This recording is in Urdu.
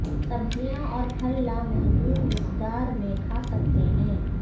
سبزیاں اور پھل لامحدود مقدار میں کھا سکتے ہیں